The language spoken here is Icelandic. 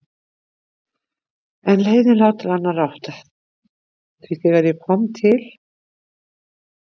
En leiðin lá til annarrar áttar því þegar ég kom til